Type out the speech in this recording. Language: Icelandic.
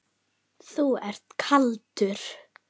Þú ert kaldur!